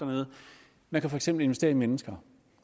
man kan for eksempel investere i mennesker